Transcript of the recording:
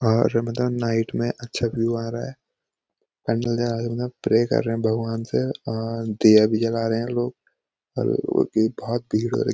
और मैदान नाईट में अच्छा व्यू आ रहा है कैंडल जला रहें ये लोग प्रे कर रहें भगवान से और दिया भी जला रहें हैं लोग और अभी बहोत भीड़ हो र --